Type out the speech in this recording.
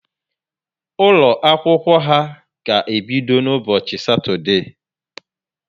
Ụlọ akwụkwọ ha ga ebido ụbọchị satode